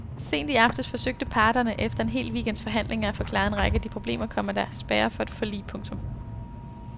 Sent i aftes forsøgte parterne efter en hel weekends forhandlinger at få klaret en række af de problemer, komma der spærrer for et forlig. punktum